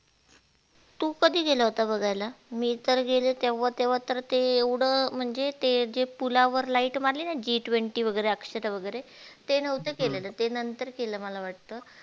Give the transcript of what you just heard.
तु कधी गेला होता बघायला मी तर गेले तेव्हा तेव्हा तर ते एवढ म्हणजे ते जे पुलावर ligth मारली ना G twenty वगेरे अक्षत वगेरे ते नहोते केलेले ते नंतर केल मला वाटत